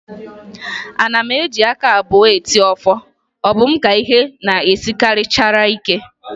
Ana m eji aka abụọ eti ọfọ, ọ bụ m ka ihe na-esinarịchara ike?